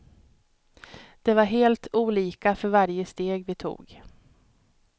Det var helt olika för varje steg vi tog.